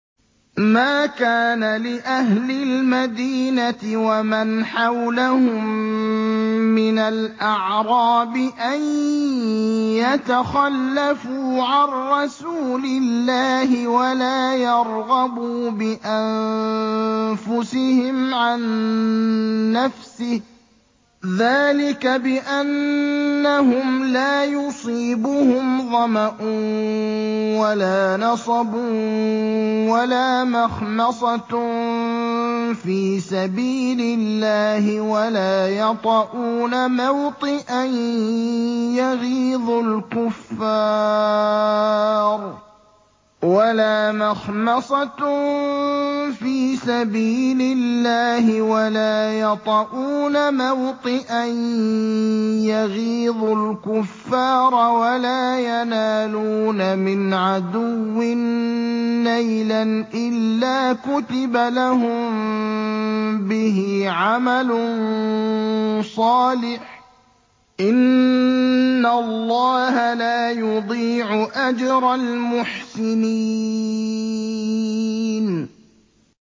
مَا كَانَ لِأَهْلِ الْمَدِينَةِ وَمَنْ حَوْلَهُم مِّنَ الْأَعْرَابِ أَن يَتَخَلَّفُوا عَن رَّسُولِ اللَّهِ وَلَا يَرْغَبُوا بِأَنفُسِهِمْ عَن نَّفْسِهِ ۚ ذَٰلِكَ بِأَنَّهُمْ لَا يُصِيبُهُمْ ظَمَأٌ وَلَا نَصَبٌ وَلَا مَخْمَصَةٌ فِي سَبِيلِ اللَّهِ وَلَا يَطَئُونَ مَوْطِئًا يَغِيظُ الْكُفَّارَ وَلَا يَنَالُونَ مِنْ عَدُوٍّ نَّيْلًا إِلَّا كُتِبَ لَهُم بِهِ عَمَلٌ صَالِحٌ ۚ إِنَّ اللَّهَ لَا يُضِيعُ أَجْرَ الْمُحْسِنِينَ